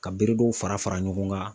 Ka bere dɔw fara fara ɲɔgɔn kan.